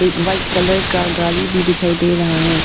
White colour का गाड़ी भी दिखाई दे रहा है।